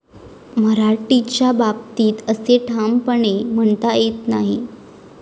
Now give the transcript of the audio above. मराठीच्या बाबतीत असे ठामपणे म्हणता येत नाही.